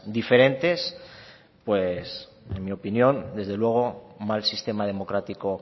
diferentes pues en mi opinión desde luego mal sistema democrático